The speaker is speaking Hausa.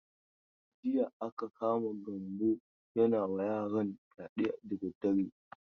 Jiya aka kama Gambo yana wa yaron fyade da dare.